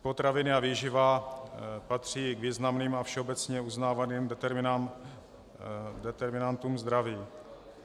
Potraviny a výživa patří k významným a všeobecně uznávaným determinátům zdraví.